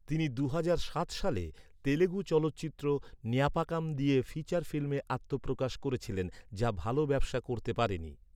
তিনি দুহাজার সাত সালে তেলুগু চলচ্চিত্র, ন্যাপাকাম দিয়ে ফিচার ফিল্মে আত্মপ্রকাশ করেছিলেন, যা ভাল ব্যবসা করতে পারেনি।